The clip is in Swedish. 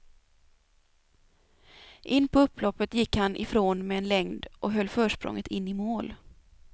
In på upploppet gick han ifrån med en längd och höll försprånget in i mål.